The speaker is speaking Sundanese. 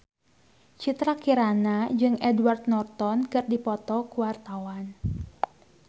Citra Kirana jeung Edward Norton keur dipoto ku wartawan